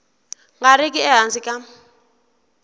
nga ri ki ehansi ka